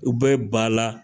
U bɛ ba la